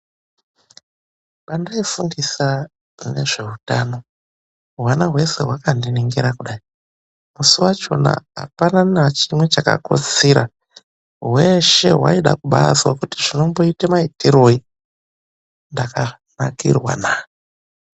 Pandaifundisa nezveutano ,hwana hweshe hwakandiningira kudayi. Musi wachona apana nachimwe chakakotsira. Hweshe hwaida kubaazwa kuti zvinomboita maitiroyi. Ndakanakirwa naa.